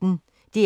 DR P1